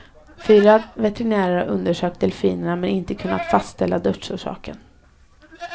Fyra veterinärer har undersökt delfinerna men inte kunnat fastställa dödsorsaken.